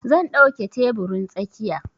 Zan ɗauke teburin tsakiya.